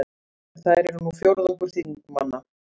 Þær eru nú fjórðungur þingmanna